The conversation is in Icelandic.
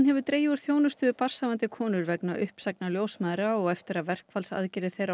hefur dregið úr þjónustu við barnshafandi konur vegna uppsagna ljósmæðra og eftir að verkfallsaðgerðir þeirra